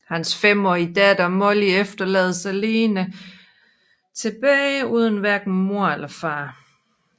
Hans femårige datter Molly efterlades alene tilbage uden hverken mor eller far